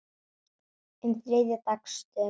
um þriðja dags dömum.